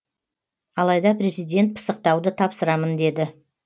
алайда президент пысықтауды тапсырамын деді